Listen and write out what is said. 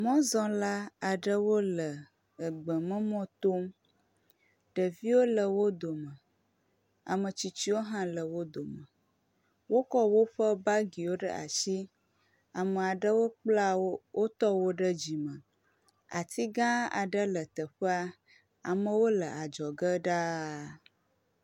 Mɔzɔ̃la aɖewo le gbememɔ tom. Ɖeviwo le wo dome. Ame tsitsiwo hã le wo dome. Wokɔ woƒe bagiwo ɖe asi. Ame aɖewo kpla wotɔwo ɖe dzime. Ati gã aɖe le teƒea. Amewo le adzɔge ɖaa.